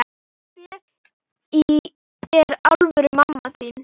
Hver er alvöru mamma þín?